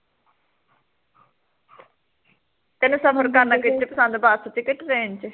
ਤੈਨੂੰ ਸਫ਼ਰ ਕਰਨਾ ਕਿਸ ਚ ਪਸੰਦ, ਬਸ ਚ ਕਿ train ਚ